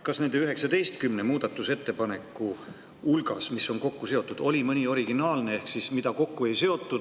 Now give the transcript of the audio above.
Kas nende 19 muudatusettepaneku hulgas, mis on kokku seotud, oli ka mõni originaalne, mida teistega kokku ei seotud?